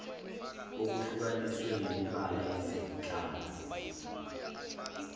okuhlukaniswe ngemibala yezihlangu